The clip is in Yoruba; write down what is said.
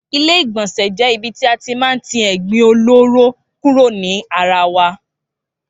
Ilé ìgbònsè jé ibi tí a ti má n ti ègbin olóró kúrò ní ara wa